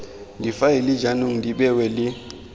difaele jaanong di bewa le